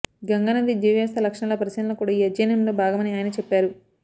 గంగా నది జీవవ్యవస్థ లక్షణాల పరిశీలన కూడా ఈ అధ్యయనంలో భాగమని ఆయన చెప్పారు